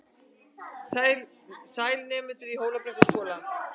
Sæl, nemendur í Hólabrekkuskóla.